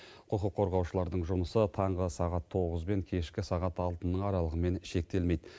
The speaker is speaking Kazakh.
құқық қорғаушылардың жұмысы таңғы сағат тоғыз бен кешкі сағат алтының аралығымен шектелмейді